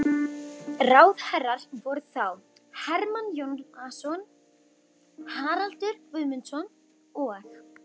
Ráðherrar voru þá: Hermann Jónasson, Haraldur Guðmundsson og